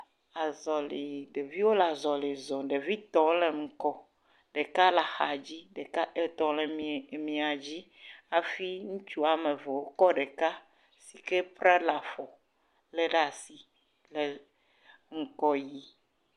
Azɔlɛ̃, ɖeviwo le azalɛ̃zɔm, ɖevitɔ le ŋgɔ ɖeka le axa dzi, ɖeka tɔ le emia dzi hafi ŋutsu kɔ ɖeka si ke pra le afɔ lé ɖe asi le ŋgɔ yim.